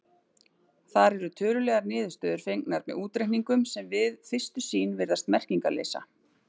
Þar eru tölulegar niðurstöður fengnar með útreikningum sem við fyrstu sýn virðast merkingarleysa.